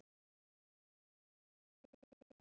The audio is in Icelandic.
Verið samt ekki hrædd um mig.